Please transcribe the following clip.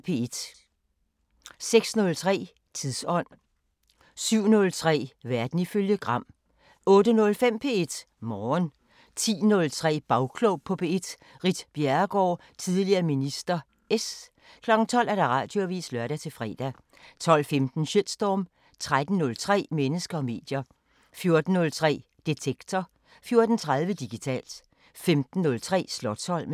06:03: Tidsånd 07:03: Verden ifølge Gram 08:05: P1 Morgen 10:03: Bagklog på P1: Ritt Bjerregaard, tidl. minister (S) 12:00: Radioavisen (lør-fre) 12:15: Shitstorm 13:03: Mennesker og medier 14:03: Detektor 14:30: Digitalt 15:03: Slotsholmen